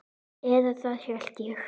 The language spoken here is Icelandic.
Eða það hélt ég!